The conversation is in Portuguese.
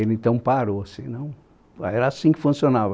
Ele então parou senão, era assim que funcionava.